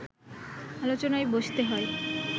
আলোচনায় বসতে হয়